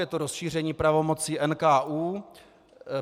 Je to rozšíření pravomocí NKÚ.